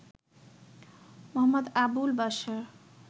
Md. Abul Bashar